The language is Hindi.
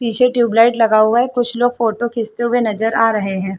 पीछे ट्यूबलाइट लगा हुआ है कुछ लोग फोटो खिचते हुए नज़र आ रहै है।